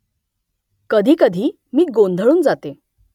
कधीकधी मी गोंधळून जाते